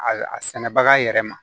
A a sɛnɛbaga yɛrɛ ma